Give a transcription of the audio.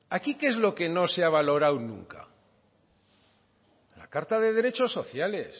valorado aquí qué es lo que no se ha valorado nunca la carta de derechos sociales